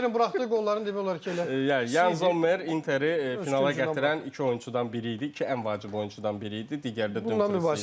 Zommerin buraxdığı qolların demək olar ki, elə Yan Zommer Interi finala gətirən iki oyunçudan biri idi, iki ən vacib oyunçudan biri idi, digər də Dumfries idi.